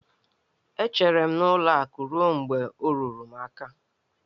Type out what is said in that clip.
E chere m n'ụlọ akụ ruo mgbe ọ ruru m n'aka